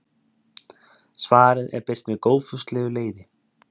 Svarið er birt með góðfúslegu leyfi.